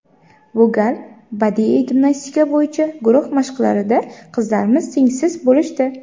Bu gal badiiy gimnastika bo‘yicha guruh mashqlarida qizlarimiz tengsiz bo‘lishdi.